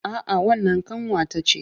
A'a wannan ƙanwa ta ce